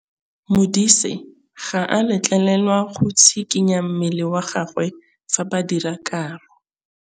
Modise ga a letlelelwa go tshikinya mmele wa gagwe fa ba dira karô.